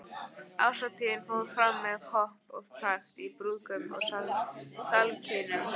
Árshátíðin fór fram með pomp og prakt í rúmgóðum salarkynnum